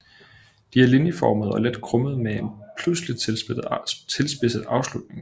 De er linjeformede og let krummede med en pludseligt tilspidset afslutning